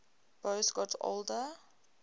boas got older